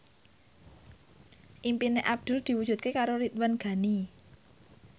impine Abdul diwujudke karo Ridwan Ghani